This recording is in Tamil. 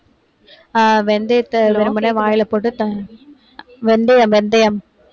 ஆஹ் வெந்தயத்தை வெறுமனே வாயில போட்டு வெந்தயம், வெந்தயம்,